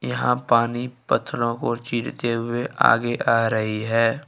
यहां पानी पत्थरों को चीरते हुए आगे आ रही है।